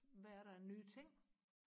hvad er der af nye ting